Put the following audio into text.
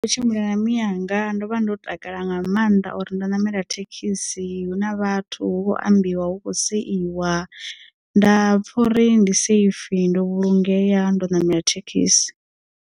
Ndi kho tshimbila na miyanga ndo vha ndo takala nga maanḓa uri ndo ṋamela thekhisi hu na vhathu hu kho ambiwa hu khou seiwa nda pfha uri ndi safe ndo vhulungea ndo ṋamela thekhisi.